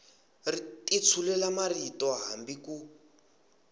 ti tshulela marito hambi ku